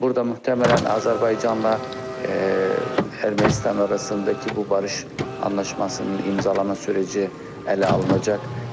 Burada möhtəmələn Azərbaycanla Ermənistan arasındakı bu barış anlaşmasının imzalanma sürəci ələ alınacaq.